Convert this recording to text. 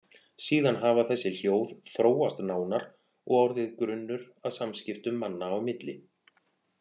Síðan hafi þessi hljóð þróast nánar og orðið grunnur að samskiptum manna á milli.